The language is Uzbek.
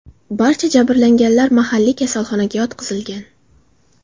Barcha jabrlanganlar mahalliy kasalxonaga yotqizilgan.